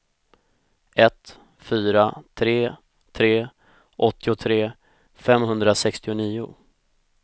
ett fyra tre tre åttiotre femhundrasextionio